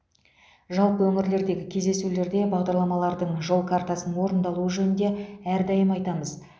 жалпы өңірлердегі кездесулерде бағдарламалардың жол картасының орындалуы жөнінде әрдайым айтамыз